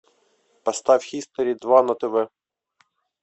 поставь хистори два на тв